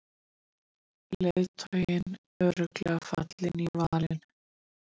Leiðtoginn örugglega fallinn í valinn